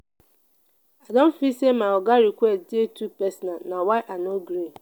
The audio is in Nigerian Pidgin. i dey feel sey my oga request dey too personal na why i no gree.